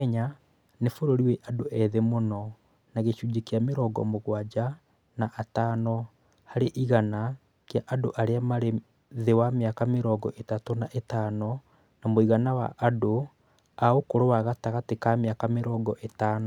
Kenya nĩ bũrũri wĩ andũ ethĩ mũno na gĩcunjĩ kĩa mĩrongo mũgwanja na atano harĩ igana kĩa andũ arĩa marĩ thĩ wa mĩaka mĩrongo ĩtatũ na ĩtano, na mũigana wa andũ a ũkũrũ wa gatagatĩa ka mĩaka mĩrongo ĩtano.